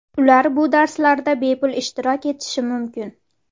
Ular bu darslarda bepul ishtirok etishi mumkin.